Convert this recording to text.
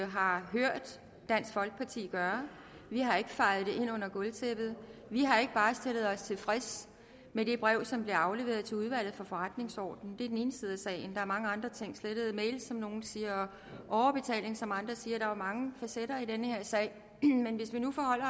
har hørt dansk folkeparti gøre vi har ikke fejet det ind under gulvtæppet vi har ikke bare stillet os tilfreds med det brev som blev afleveret til udvalget for forretningsordenen det er den ene side af sagen der er mange andre ting slettede mails som nogle siger og overbetaling som andre siger der er jo mange facetter i den her sag men hvis vi nu forholder